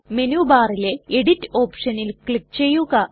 menu ബാറിലെ edit ഓപ്ഷനിൽ click ചെയ്യുക